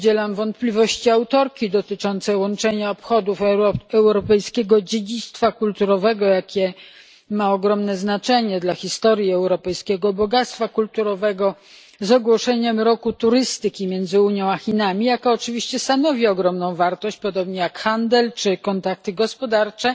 Podzielam wątpliwości autorki dotyczące łączenia obchodów europejskiego dziedzictwa kulturowego które ma ogromne znaczenie dla historii europejskiego bogactwa kulturowego z ogłoszeniem roku turystyki między Unią a Chinami, która oczywiście stanowi ogromną wartość, podobnie jak handel czy kontakty gospodarcze.